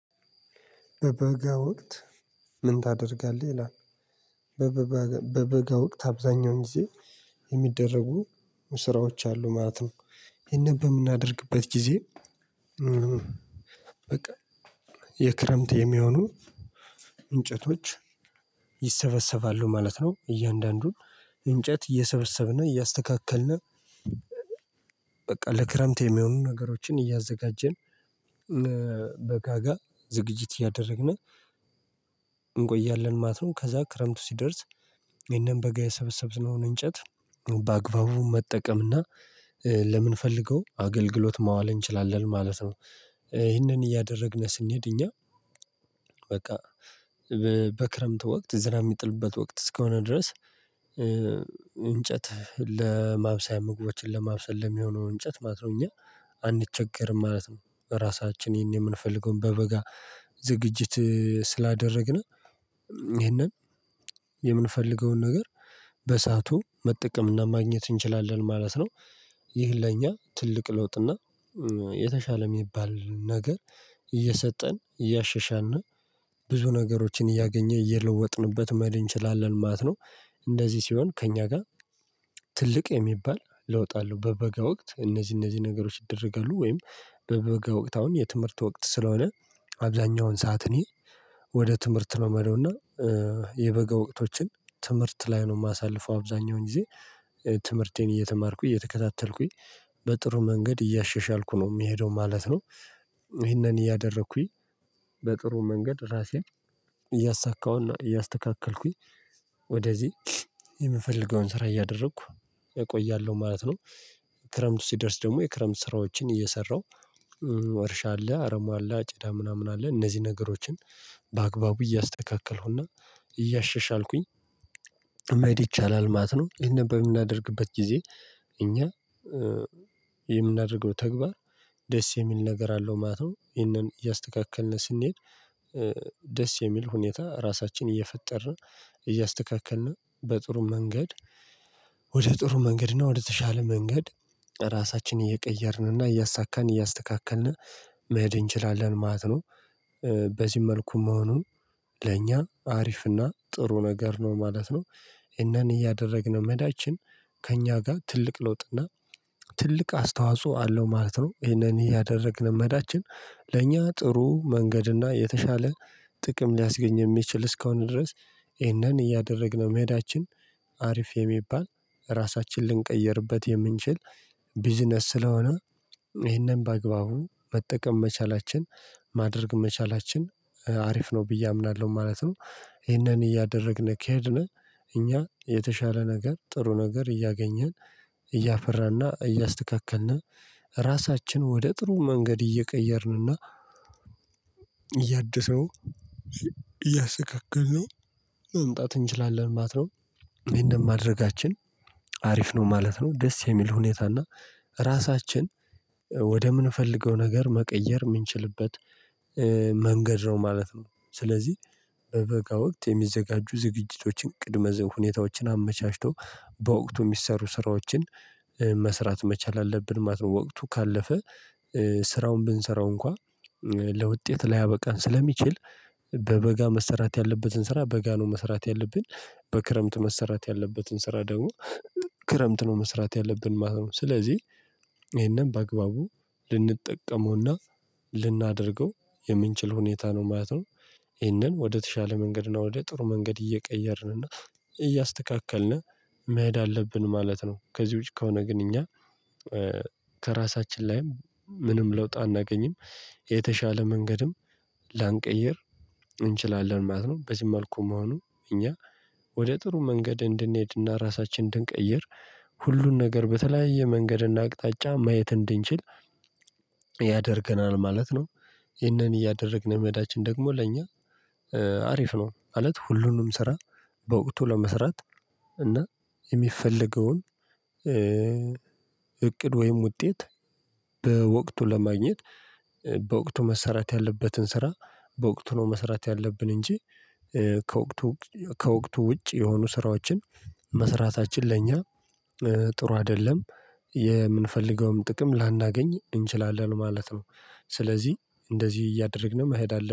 በበጋ ወቅት ምን ታደርጋለህ ይላል? በበጋ ወቅት አብዛኛውን ጊዜ የሚደረጉ ስራዎች አሉ ማለት ነው። ይሄን በምናደርግበት ጊዜ በቃ የክረምት የሚሆኑ እንጨቶች ይሰበሰባሉ ማለት ነው። እያንዳንዱን እንጨት እየሰበሰብን እያስተካከልን በቃ ለክረምት የሚሆኑ ነገሮችን እያዘጋጀን በጋጋ ዝግጅት እያደረግን እንቆያለን ማለት ነው። ከዛ ክረምቱ ሲደርስ ይሄንን በጋ የሰበሰብነውን እንጨት በአግባቡ መጠቀም እና ለምንፈልገው አገልግሎት ማዋል እንችላለን ማለት ነው። ይሄንን እያደረግን ስንሄድ እኛ በቃ በክረምት ወቅት ዝናብ የሚጥልበት ወቅት እስከሆነ ድረስ። እንጨት ለማብሰያ ምግቦችን ለማብሰል ለሚሆነው እንጨት ማለት ነው እኛ አንቸገርም ማለት ነው። በራሳችን ይሄን የምንፈልገውን በበጋ ዝግጅት ስላደረግን ይሄንን የምንፈልገውን ነገር በሰአቱ መጠቀምና ማግኘት እንችላለን ማለት ነው። ይህ ለእኛ ትልቅ ለውጥና የተሻለ የሚባል ነገር እየሰጠን እያሻሻልን ብዙ ነገሮችን እያገኘ እየለወጥንበት መሄድ እንችላለን ማለት ነው። እንደዚህ ሲሆን ከእኛ ጋር ትልቅ የሚባል ለውጥ አለ። በበጋ ወቅት እነዚህ እነዚህ ነገሮች ይደረጋሉ። ወይም በበጋ ወቅት አሁን የትምህርት ወቅት ስለሆነ አብዛኛውን ሰዓት እኔ ወደ ትምህርት ነው ምሄደው እና የበጋ ወቅቶችን ትምህርት ላይ ነው የማሳልፈው አብዛኛውን ጊዜ ትምህርቴን እየተማርኩኝ እየተከታተልኩኝ በጥሩ መንገድ እያሻሻልኩ ነው የሚሄደው ማለት ነው። ይሄንን እያደረኩኝ በጥሩ መንገድ ራሴን እያሳካሁና እያስተካከልኩኝ ወደዚህ የምፈልገውን ስራ እያደረኩ እቆያለሁ ማለት ነው። ክረምቱ ሲደርስ ደግሞ የክረምት ስራዎችን እየሰራው እርሻ አለ አረም አለ አጭዳ ምናምን አለ እነዚህ ነገሮችን በአግባቡ እያስተካከልኩና እያሻሻልኩኝ መሄድ ይቻላል ማት ነው። ይህን በምናደርግበት ጊዜ እኛ የምናደርገው ተግባር ደስ የሚል ነገር አለው ማለት ነው። ይሄንን እያስተካከልን ስንሄድ ደስ የሚል ሁኔታ ራሳችንን እየፈጠርን እያስተካከልን በጥሩ መንገድ ወደ ጥሩ መንገድ ነው ወደተሻለ መንገድ ራሳችንን እየቀየርንና እያሳካን እያስተካከልን መሄድ እንችላለን ማለት ነው። በዚህ መልኩ መሆኑ ለእኛ አሪፍና ጥሩ ነገር ነው ማለት ነው። እናን እያደረግነው መሄዳችን ከእኛ ጋር ትልቅ ለውጥና ትልቅ አስተዋጽኦ አለው ማለት ነው። ይሄንን ያደረግን መሄዳችን ለእኛ ጥሩ መንገድና የተሻለ ጥቅም ሊያስገኝ የሚችል እስከሆነ ድረስ ይህንን እያደረግነው መሄዳችን አሪፍ የሚባል ራሳችንን ልንቀይርበት የምንችል ቢዝነስ ስለሆነ ይሄንን በአግባቡ መጠቀም መቻላችን ማድረግ መቻላችን አሪፍ ነው ብዬ አምናለሁ ማለት ነው። ይሄንን እያደረግን ከሄድን እኛ የተሻለ ነገር ጥሩ ነገር እያገኘን እያፈራና እያስተካከልን ራሳችን ወደ ጥሩ መንገድ እየቀየርንና እያደሰው እያሰካክልነው መምጣት እንችላለን ማለት ነው። ይህን ማድረጋችን አሪፍ ነው ማለት ነው። ደስ የሚል ሁኔታ እና ራሳችን ወደምንፈልገው ነገር መቀየር የምንችልበት መንገድ ነው ማለት ነው። ስለዚህ በበጋ ወቅት የሚዘጋጁ ዝግጅቶችን ቅድመ ሁኔታዎችን አመቻችቶ በወቅቱ የሚሰሩ ስራዎችን መስራት መቻል አለብን ማለት ነው። ወቅቱ ካለፈ ስራውን ብንሰራው እንኳን ለውጤት ላያበቃን ስለሚችል በበጋ መሰራት ያለበትን ስራ በጋ ነው መሰራት ያለብን በክረምት መስራት ያለበትን ስራ ደግሞ ክረምት ነው መስራት ያለብን ማለት ነው። ስለዚህ ይሄንን በአግባቡ ልንጠቀመውና ልናደርገው የምንችል ሁኔታ ነው ማለት ነው። ይሄንን ወደተሻለ መንገድ እና ወደ ጥሩ መንገድ እየቀየርን እና እያስተካከልን መሄድ አለብን ማለት ነው። ከዚህ ውጪ ከሆነ ግን እኛ ከራሳችን ላይም ምንም ለውጥ አናገኝም የተሻለ መንገድም ላንቀይር እንችላለን ማለት ነው። በዚህ መልኩ መሆኑ እኛ ወደ ጥሩ መንገድ እንድንሄድና ራሳችንን እንድንቀይር ሁሉን ነገር በተለያየ መንገድና አቅጣጫ ማየት እንድንችል ያደርገናል ማለት ነው። ይህንን እያደረግን መሄዳችን ደግሞ ለእኛ አሪፍ ነው ማለት። ሁሉንም ስራ በወቅቱ ለመስራት እና የሚፈልገውን እቅድ ወይም ውጤት በወቅቱ ለማግኘት በወቅቱ መሰራት ያለበትን ስራ በወቅቱ ነው መሰራት ያለብን እንጂ ከወቅቱ ከወቅቱ ውጭ የሆኑ ስራዎችን መስራታችን ለእኛ ጥሩ አይደለም የምንፈልገውም ጥቅም ላናገኝ እንችላለን ማለት ነው። ስለዚህ እንደዚህ እያደረግን መሄድ አለብን